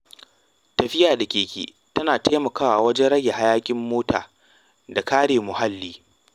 Tafiya da keke tana taimakawa wajen rage hayaƙin mota da kare muhalli.